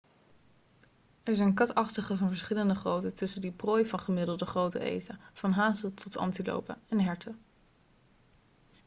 er zitten katachtigen van gemiddelde grootte tussen die prooi van gemiddelde grootte eten van hazen tot antilopen en herten